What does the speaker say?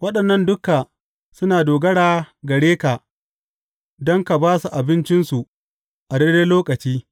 Waɗannan duka suna dogara gare ka don ka ba su abincinsu a daidai lokaci.